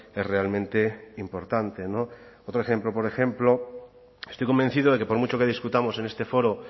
es realmente importante no otro ejemplo por ejemplo estoy convencido de que por mucho que discutamos en este foro